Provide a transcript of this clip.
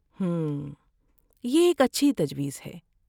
ہمم، یہ ایک اچھی تجویز ہے۔